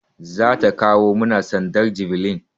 Za ta kawo mana sandar javelin.